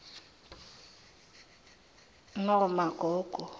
nomagogo